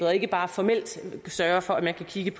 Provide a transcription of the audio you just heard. og ikke bare formelt sørge for at man kan kigge